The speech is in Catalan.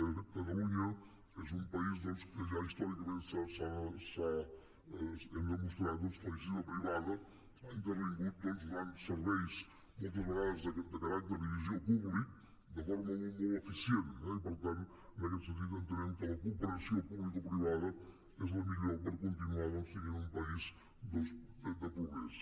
de fet catalunya és un país en què ja històricament hem demostrat que la iniciativa privada ha intervingut doncs donant serveis de caràcter i visió públics de forma molt eficient i per tant en aquest sentit entenem que la cooperació publicoprivada és la millor per continuar sent un país de progrés